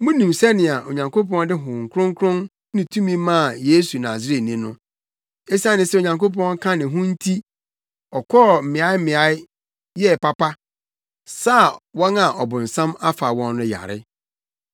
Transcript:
Munim sɛnea Onyankopɔn de Honhom Kronkron ne tumi maa Yesu Nasareni no. Esiane sɛ Onyankopɔn ka ne ho no nti ɔkɔɔ mmeaemmeae, yɛɛ papa, saa wɔn a ɔbonsam afa wɔn no yare.